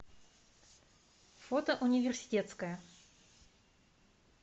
фото университетская